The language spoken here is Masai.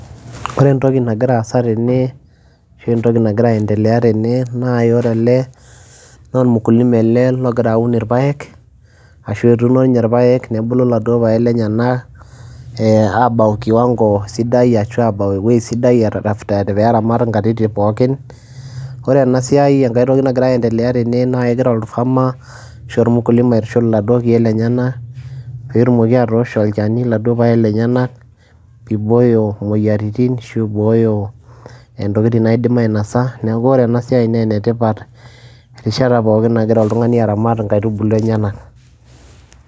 Ore entoki nagira aasa tene ashu entoki nagira aiendelea tene naa ore ele naa ormukulima ele logira aun irpaek ashu etuuno nye irpaek nebulu laduo paek lenyenak ee aabau kiwang'o sidai ashu aabau ewoi sidai after pee eramat nkatitin pookin. Kore ena siai enkai toki nagira aiendelea tene nae egira orfarmer ashu ormukulima aitushul laduo keek lenyenak peetumoki atoosho olchani laduo paek lenyenak ibooyo moyiaritin ashu ibooyo ntokitin naidim ainasa. Neeku ore ena siai naa ene tipat erishata pookin nagira oltung'ani aramat nkaitubulu enyenak.